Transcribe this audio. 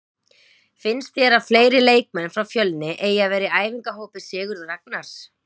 Finnst þér að fleiri leikmenn frá Fjölni eigi að vera í æfingahópi Sigurðs Ragnars?